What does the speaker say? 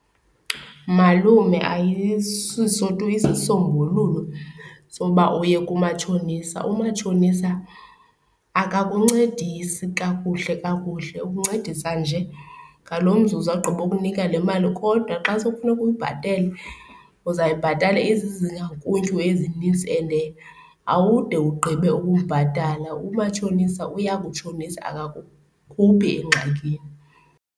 Malume ayisiso tu isisombululo soba oye kumatshonisa. Umatshonisa akakuncedisa kakuhle kakuhle ukuncedisa nje ngalo mzuzu agqiba ukunika le mali kodwa xa sekufuneka uyibhatele, uzayibhatala izizakhuntyu ezinintsi ende awude ugqibe ukumbhatala. Umatshonisa uya kutshonisa akakukhuphi engxakini.